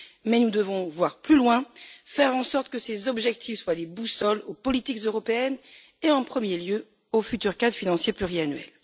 Mais nous devons voir plus loin, faire en sorte que ces objectifs soient des boussoles aux politiques européennes et, en premier lieu, au futur cadre financier pluriannuel.